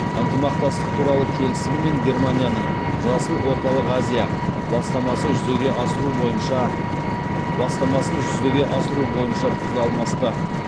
ынтымақтастық туралы келісім мен германияның жасыл орталық азия бастамасын жүзеге асыру бойынша пікір алмасты